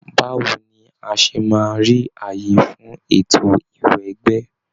Báwo ni a ṣe máa rí àyè fún ètò ìwẹgbẹ́?